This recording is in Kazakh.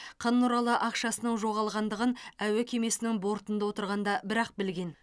қ нұралы ақшасының жоғалғандығын әуе кемесінің бортында отырғанда бірақ білген